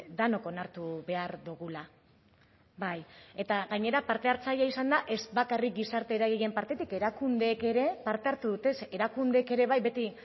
denok onartu behar dugula bai eta gainera parte hartzailea izan da ez bakarrik gizarte eragileen partetik erakundeek ere parte hartu dute ze erakundeek ere bai beti